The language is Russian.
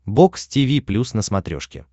бокс тиви плюс на смотрешке